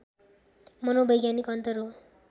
मनोवैज्ञानिक अन्तर हो